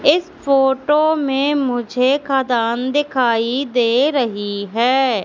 इस फोटो में मुझे खदान दिखाई दे रही है।